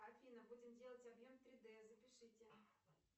афина будем делать объем три д запишите